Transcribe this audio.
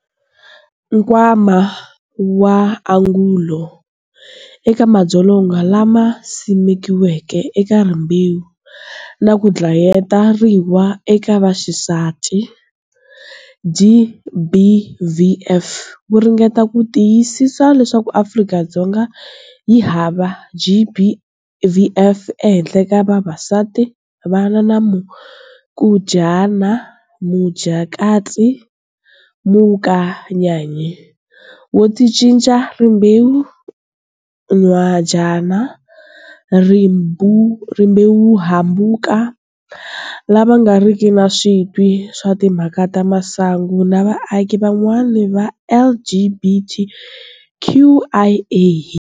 Nkwama wa Angulo eka Madzolonga lama Simekiweke eka Rimbewu na ku Dlayeteriwa ka Vaxisati, GBVF, wu ringeta ku tiyisisa leswaku Afrika-Dzonga yi hava GBVF ehenhla ka vavasati, vana, na mukajana, mujakati, mukanyayi, wo ticinca rimbewu, nhwajana, rimbewuhambuko, lava nga riki na switwi swa timhaka ta masangu na vaaki van'wana va, LGBTQIA.